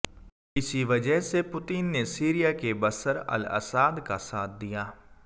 इसी वजह से पुतिन ने सीरिया के बशर अल अस्साद का साथ दिया